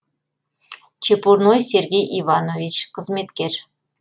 чепурной сергей иванович қызметкер